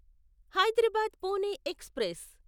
Hyderabad Pune express